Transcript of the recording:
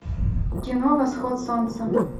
кино восход солнца